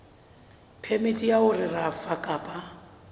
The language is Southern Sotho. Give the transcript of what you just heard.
phemiti ya ho rafa kapa